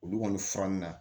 Olu kɔni furanni na